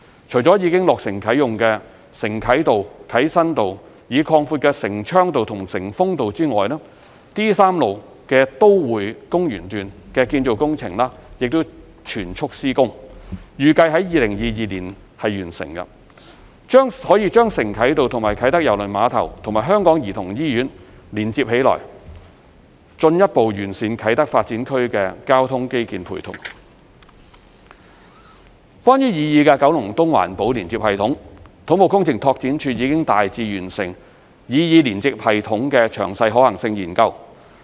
除了已落成啟用的承啟道、啟新道、已擴闊的承昌道和承豐道外 ，D3 路的建造工程正全速施工，預計於2022年完成，把承啟道與啟德郵輪碼頭及香港兒童醫院連接起來，將可進一步完善啟德發展區的交通基建配套。關於擬議九龍東環保連接系統，土木工程拓展署已大致完成擬議連接系統的詳細可行性研究。